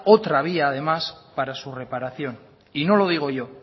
otra vía además para su reparación y no lo digo yo